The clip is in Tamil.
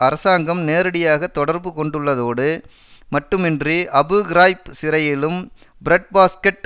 அரசாங்கம் நேரடியாக தொடர்பு கொண்டுள்ளதோடு மட்டுமின்றி அபு கிராய்ப் சிறையிலும் பிரெட்பாஸ்கெட்